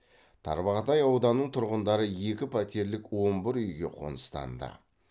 тарбағатай ауданының тұрғындары екі пәтерлік он бір үйге қоныстанды